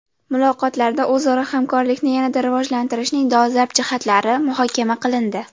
Muloqotlarda o‘zaro hamkorlikni yanada rivojlantirishning dolzarb jihatlari muhokama qilindi.